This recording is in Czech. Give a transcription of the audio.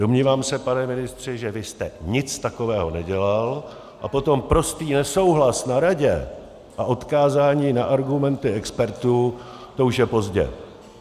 Domnívám se, pane ministře, že vy jste nic takového nedělal, a potom prostý nesouhlas na Radě a odkázání na argumenty expertů, to už je pozdě.